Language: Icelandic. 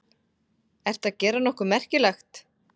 Ertu að gera nokkuð merkilegt?